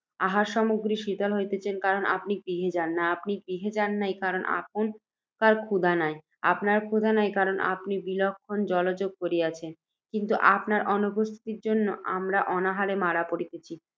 আহারসামগ্রী শীতল হইতেছে, কারণ আপনি গৃহে যান নাই, আপনি গৃহে যান নাই, কারণ আপনকার ক্ষুধা নাই, আপনকার ক্ষুধা নাই, কারণ আপনি বিলক্ষণ জলযোগ করিয়াছেন, কিন্তু আপনকার অনুপস্থিতি জন্ত আমরা অনাহারে মারা পড়িতেছি।